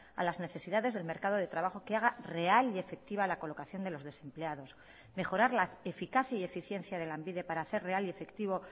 a las necesidades del mercado de trabajo que haga real y efectiva la colocación de los desempleados mejorar la eficacia y eficiencia de lanbide para hacer real y efectivo